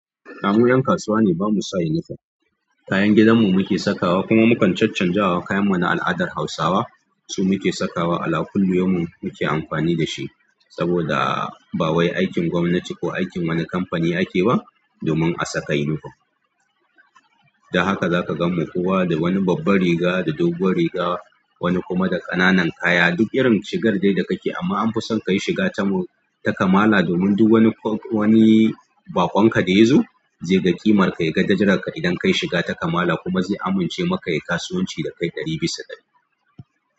Mu 'yan kasuwa ne, ba mu sa uniform. Kayan gidanmu muke sakawa kuma mukan caccanzawa. Kayanmu na al'adar Hausawa su muke sakawa. Ala kullu yaumin muke amfani da shi saboda ba wai aikin gwamnati ko aikin wani kamfani ake ba domin a saka uniform. Da haka zaka ganmu kowa da wani babban riga da dogon riga, wani kuma da ƙananan kaya duk irin shigar dai da kake, amma an fi son ka yi shiga ta kamala domin duk wani baƙon ka da ya zo zai ga ƙimarka, ya ga darajarka idan ka yi shiga ta kamala kuma zai amince maka ka yayi kasuwanci da kai ɗari bisa ɗari.